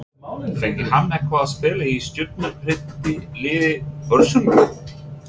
Fengi hann eitthvað að spila í stjörnum prýddu liði Börsunga?